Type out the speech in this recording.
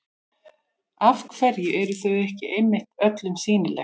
Af hverju eru þau ekki einmitt öllum sýnileg?